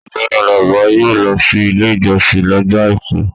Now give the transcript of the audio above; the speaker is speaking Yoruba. Ọgbẹni Àlàbá yóò lọ sí Ilé-ìjọsìn lọ́jọ́ àìkú.